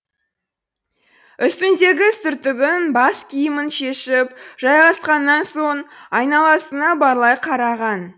үстіндегі сүртігін бас киімін шешіп жайғасқаннан соң айналасына барлай қараған